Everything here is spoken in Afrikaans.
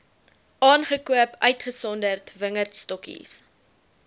aangekoop uitgesonderd wingerdstokkies